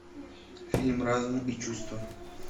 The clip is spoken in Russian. фильм разум и чувства